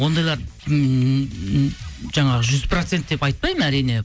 ондайлар ммм жаңағы жүз процент деп айтпаймын әрине